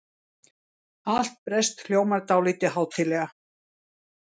Allt breskt hljómar dálítið hátíðlega.